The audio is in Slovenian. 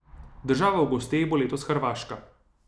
Država v gosteh bo letos Hrvaška.